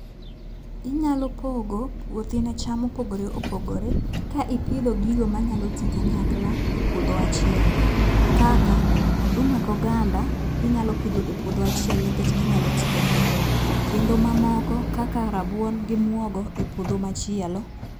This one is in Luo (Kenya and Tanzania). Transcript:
Inyalo pogo puothi ne cham mopogore opogore ka ipidho gigo manyalo tii kanyakla e puodho achiel kaka: oduma go ganda inyalo pidho e puodho achiel tikech ginyalo tii kanyakla kendo mamoko kaka rabuon gi mwogo e puodho machielo.